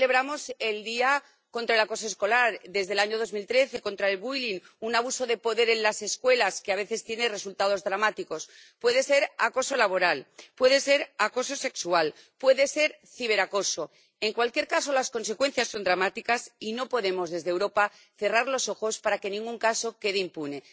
Hoy celebramos el Día Internacional contra el Acoso Escolar, desde el año 2013, contra el bullying un abuso de poder en las escuelas que a veces tiene resultados dramáticos. Puede ser acoso laboral, puede ser acoso sexual, puede ser ciberacoso. En cualquier caso, las consecuencias son dramáticas y no podemos desde Europa cerrar los ojos, para que ningún caso quede impune.